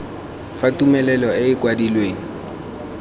fa tumelelo e e kwadilweng